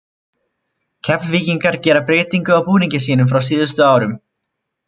Keflvíkingar gera breytingu á búningi sínum frá síðustu árum.